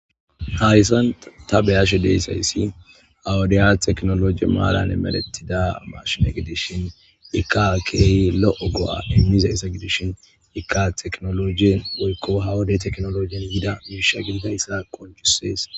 hayssan ta beyashe de'izayssi ha wudiya tekinolojje maaran emeeretiidda mashine gidishin ikka agey lo'o go'a immizayssa gidishin ikka tekinolojje woykko ha wodey tekinolojjen yiidda miishsha gididayssa qoncisees